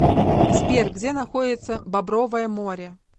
сбер где находится бобровое море